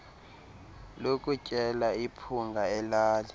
lokutyela iphunga elali